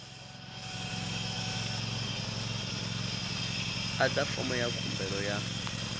adza fomo ya khumbelo ya